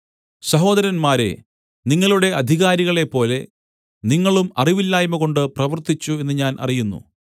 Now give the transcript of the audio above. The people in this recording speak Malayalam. സഹോദരന്മാരേ നിങ്ങളുടെ അധികാരികളെപ്പോലെ നിങ്ങളും അറിവില്ലായ്മകൊണ്ട് പ്രവർത്തിച്ചു എന്നു ഞാൻ അറിയുന്നു